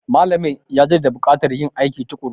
Malamin ya jaddada bukatar yin aiki tukuru.